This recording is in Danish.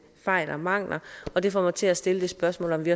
fejl og mangler og det får mig til at stille det spørgsmål om vi